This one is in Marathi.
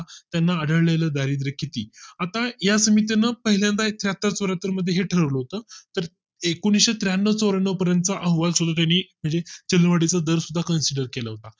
त्यांना आढळले लं दारिद्रय़ किती आता या समित्यांना पहिल्यांदाच हाताळत मध्ये ठरवलं होतं तर एकुणिशे त्र्याण्णव चौऱ्याण्णव पर्यंत अहवाल चंद वाढीचा दर सुद्धा कंस